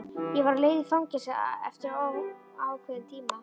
Ég var á leið í fangelsi eftir óákveðinn tíma.